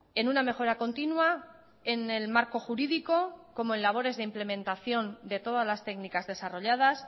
en una mejora continua en el marco jurídico como en labores de implementación de todas las técnicas desarrolladas